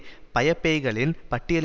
பட்டியலின்தான் வைக்க வேண்டும்